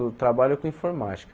Eu trabalho com informática.